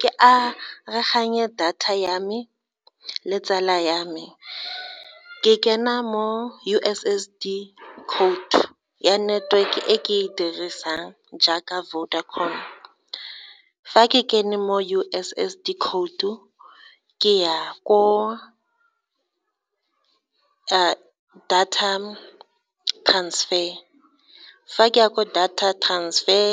Ke data ya me le tsala ya me ke kena mo U_S_S_D code ya networke ke e dirisang jaaka Vodacom, fa ke kene mo U_S_S_D khoutu, ke ya ko data transfer, fa ke ya kwa data transfer,